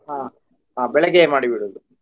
ಹ ಹ ಬೆಳಗ್ಗೆಯೇ ಮಾಡಿ ಬಿಡುದು.